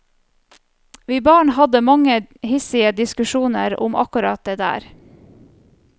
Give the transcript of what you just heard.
Vi barn hadde mange hissige diskusjoner om akkurat det der.